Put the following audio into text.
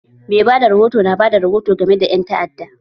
Mai bada rahoto na bada rihoto game da ƴan ta'adda